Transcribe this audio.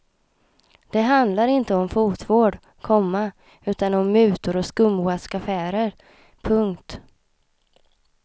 Det handlar inte om fotvård, komma utan om mutor och skumraskaffärer. punkt